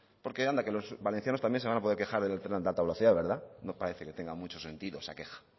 porque anda que los valencianos también se van a poder quejar del tren de alta velocidad verdad no parece que tenga mucho sentido esa queja